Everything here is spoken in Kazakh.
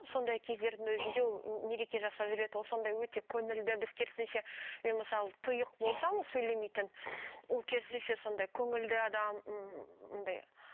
сондай кездердің өзінде ол мереке жасап жүреді ол сондай өте көңілді біз керісінше мен мысалы тұйық болсам сөйлемейтін ол керісінше сондай көңілді адам м андай